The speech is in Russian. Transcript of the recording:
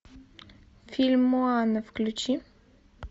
фильм моана включи